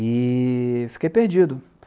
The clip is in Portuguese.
E fiquei perdido.